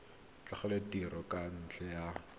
tlogela tiro ka ntlha ya